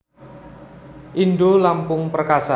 Indolampung Perkasa